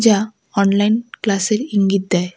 যা অনলাইন ক্লাসের ইঙ্গিত দেয়।